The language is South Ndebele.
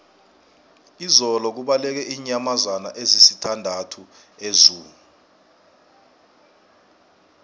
izolo kubaleke iinyamazana ezisithandathu ezoo